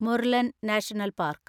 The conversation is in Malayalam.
Murlen National park